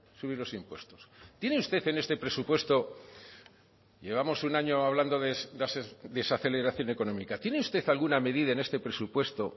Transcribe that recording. subir los impuestos tiene usted en este presupuesto llevamos un año hablando de desaceleración económica tiene usted alguna medida en este presupuesto